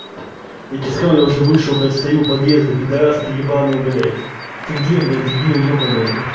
я тебе сказал я уже вышел блядь стою у подъезда пидарас ты ебаный блядь ты где блядь дебил ёбаный